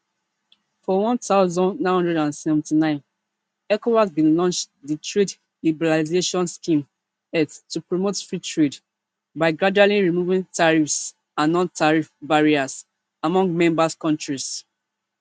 for one thousand, nine hundred and seventy-nine ecowas bin launch di trade liberalization scheme etls to promote free trade by gradually removing tariffs and nontariff barriers among member kontris